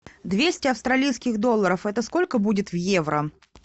двести австралийских долларов это сколько будет в евро